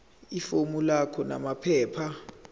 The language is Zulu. ifomu lakho namaphepha